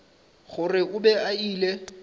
gore o be a ile